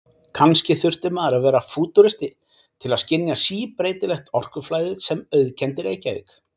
Kannski þurfti maður að vera fútúristi til að skynja síbreytilegt orkuflæðið sem auðkenndi Reykjavík.